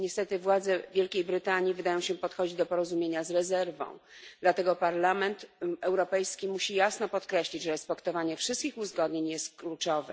Niestety władze Wielkiej Brytanii wydają się podchodzić do porozumienia z rezerwą, dlatego Parlament Europejski musi jasno podkreślić, że respektowanie wszystkich uzgodnień jest kluczowe.